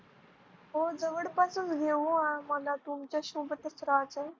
हो जवळपासच घेऊ मला तुमच्या सोबत राहायचं आहे.